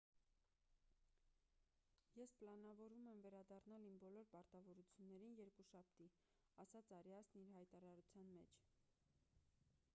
ես պլանավորում եմ վերադառնալ իմ բոլոր պարտականություններին երկուշաբթի»,- ասաց արիասն իր հայտարարության մեջ: